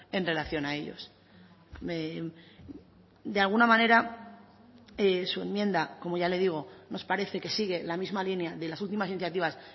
en relación a ellos de alguna manera su enmienda como ya le digo nos parece que sigue la misma línea de las últimas iniciativas